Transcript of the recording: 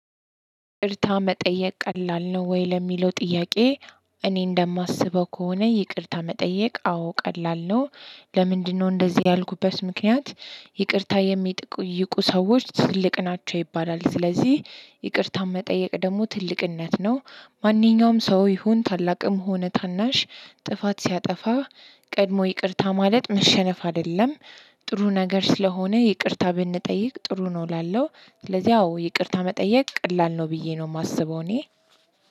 ይቅርታ መጠየቅ ቀላል ነው ወይ ለሚለው ጥያቄ? እኔ እንደማስበው ከሆነ ይቅርታ መጠየቅ አዎ ቀላል ነው ለምንድነው እንደዚህ ያልኩበት ምክንያት ይቅርታ የሚጠይቁ ሰዎች ትልቅ ናቸው ይባላል ስለዚህ ይቅርታን መጠየቅ ደግሞ ትልቅነት ነው ማንኛውም ሰው ይሁን ታላቅም ሆነ ታናሽ ጥፋት ሲያጠፋ ቀድሞ ይቅርታ ማለት መሸነፍ አይደለም። ጥሩ ነገር ስለሆነ ይቅርታ ብንጠይቅ ጥሩ ነው እላለሁ። ስለዚህ አዎ ይቅርታ መጠየቅ ቀላል ነው ብዬ ነው የማስበው እኔ